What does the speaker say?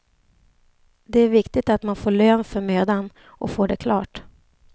Det är viktigt att man får lön för mödan och får det klart.